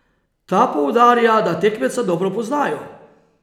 Ta poudarja, da tekmeca dobro poznajo.